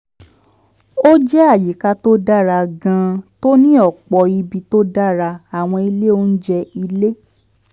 ó jẹ́ àyíká tó dára gan-an tó ní ọ̀pọ̀ ibi tó dára àwọn ilé oúnjẹ ilé